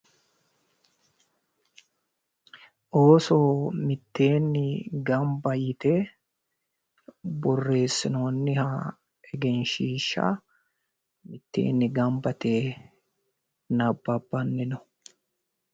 Ooso mitteenni gamba yite borreessinoonniha egenshiishsha mitteenni gamba yite nabbabbanni no